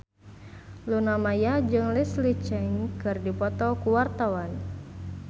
Luna Maya jeung Leslie Cheung keur dipoto ku wartawan